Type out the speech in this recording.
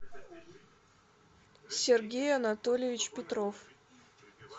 сергей анатольевич петров